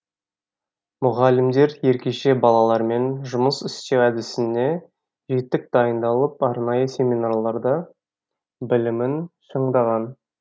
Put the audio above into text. мұғалімдер ерекше балалармен жұмыс істеу әдісіне жетік дайындалып арнайы семинарларда білімін шыңдаған